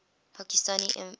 pakistani imams